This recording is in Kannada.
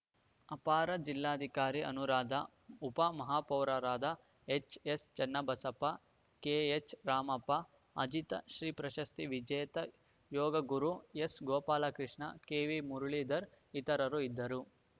ಅಪರ ಜಿಲ್ಲಾಧಿಕಾರಿ ಅನುರಾಧ ಉಪ ಮಹಾಪೌರರಾದ ಎಚ್‌ಎಸ್‌ ಚನ್ನಬಸಪ್ಪ ಕೆಎಚ್‌ ರಾಮಪ್ಪ ಅಜಿತ ಶ್ರೀ ಪ್ರಶಸ್ತಿ ವಿಜೇತ ಯೋಗಗುರು ಎಸ್‌ ಗೋಪಾಲಕೃಷ್ಣ ಕೆವಿ ಮುರುಳಿಧರ್‌ ಇತರರು ಇದ್ದರು